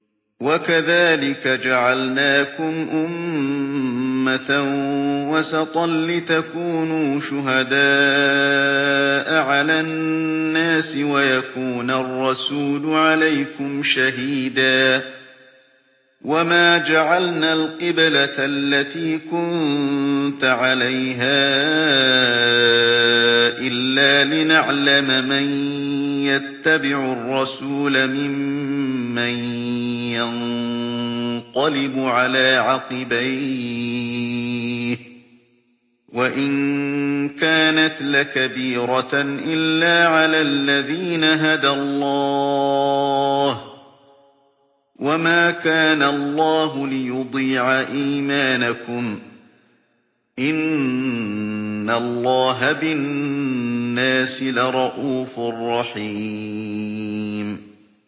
وَكَذَٰلِكَ جَعَلْنَاكُمْ أُمَّةً وَسَطًا لِّتَكُونُوا شُهَدَاءَ عَلَى النَّاسِ وَيَكُونَ الرَّسُولُ عَلَيْكُمْ شَهِيدًا ۗ وَمَا جَعَلْنَا الْقِبْلَةَ الَّتِي كُنتَ عَلَيْهَا إِلَّا لِنَعْلَمَ مَن يَتَّبِعُ الرَّسُولَ مِمَّن يَنقَلِبُ عَلَىٰ عَقِبَيْهِ ۚ وَإِن كَانَتْ لَكَبِيرَةً إِلَّا عَلَى الَّذِينَ هَدَى اللَّهُ ۗ وَمَا كَانَ اللَّهُ لِيُضِيعَ إِيمَانَكُمْ ۚ إِنَّ اللَّهَ بِالنَّاسِ لَرَءُوفٌ رَّحِيمٌ